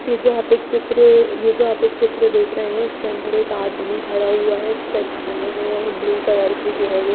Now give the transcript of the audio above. ये जो आप एक चित्र ये जो आप एक चित्र देख रहे हैं इसके अंदर एक आदमी खड़ा हुआ है चट्टाने हैं और ब्लू कलर की जो है वो--